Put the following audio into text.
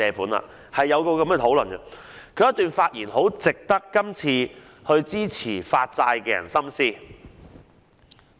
當年他在相關討論中的發言很值得今次支持發債的人深思。